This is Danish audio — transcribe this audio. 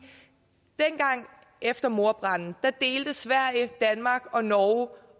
dengang efter mordbranden delte sverige danmark og norge